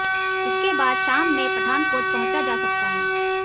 इसके बाद शाम में पठानकोट पहुंचा जा सकता है